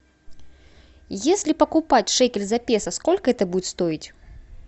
если покупать шекель за песо сколько это будет стоить